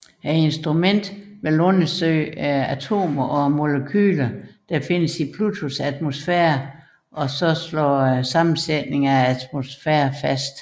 Instrumentet vil undersøge atomerne og molekylerne der findes i Plutos atmosfære og fastslå sammensætningen af atmosfæren